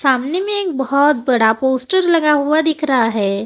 सामने में एक बहुत बड़ा पोस्टर लगा हुआ दिख रहा है।